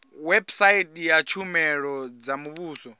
website ya tshumelo dza muvhuso